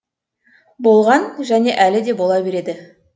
болған және әлі де бола береді